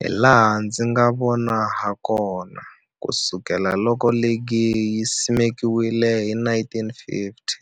Hilaha ndzi nga vona hakona, ku sukela loko ligi yi simekiwile 1950,